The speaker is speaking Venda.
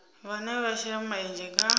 vhane vha shela mulenzhe kha